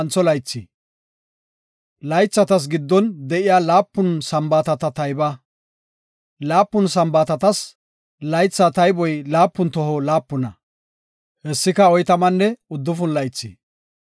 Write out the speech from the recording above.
Laythatas giddon de7iya laapun Sambaatata tayba; laapun Sambaatatas laytha tayboy laapun toho laapuna; hessika oytamanne uddufun laythi.